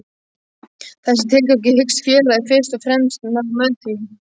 Þessu tilgangi hyggst félagið fyrst og fremst ná með því: